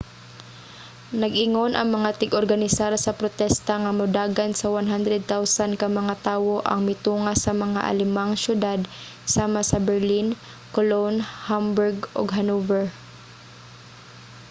nag-ingon ang mga tig-organisar sa protesta nga modagan sa 100,000 ka mga tawo ang mitunga sa mga alemang syudad sama sa berlin cologne hamburg ug hanover